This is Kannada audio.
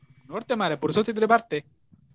ನೋಡ್ತೆ ಮಾರ್ರೆ ಪುರ್ಸೋತು ಇದ್ರೆ ಬರ್ತೆ.